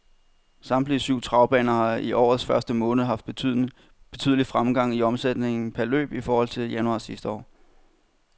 Samtlige syv travbaner har i årets første måned haft betydelig fremgang i omsætningen per løb i forhold til januar sidste år.